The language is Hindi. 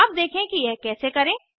अब देखें कि यह कैसे करें